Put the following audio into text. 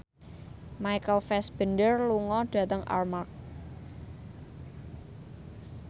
Michael Fassbender lunga dhateng Armargh